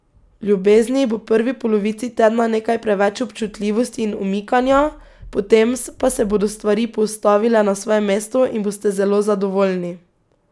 V ljubezni bo v prvi polovici tedna nekaj preveč občutljivosti in umikanja, potem pa se bodo stvari postavile na svoje mesto in boste zelo zadovoljni.